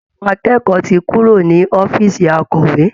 Àwọn akẹ́kọ̀ọ́ ti kúrò ní ọ̀fíìsì akọ̀wé